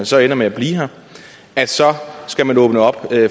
så ender med at blive her så skal man åbne op